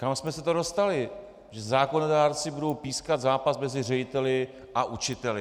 Kam jsme se to dostali, že zákonodárci budou pískat zápas mezi řediteli a učiteli?